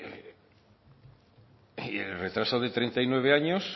y el retraso de treinta y nueve años